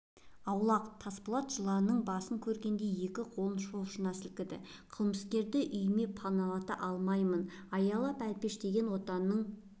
аулақ тасболат жыланның басын көргендей екі қолын шошына сілкіді қылмыскерді үйіме паналата алмаймын аялап әлпештеген отанның